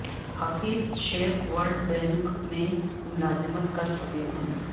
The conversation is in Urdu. حفیظ شیخ ورلڈ بینک میں ملازمت کر چکے ہیں